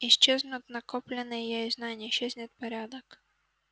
исчезнут накопленные ею знания исчезнет порядок